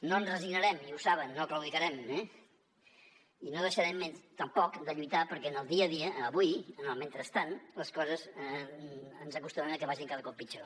no ens resignarem i ho saben no claudicarem eh i no deixarem tampoc de lluitar perquè en el dia a dia avui en el mentrestant les coses ens acostumem que vagin cada cop pitjor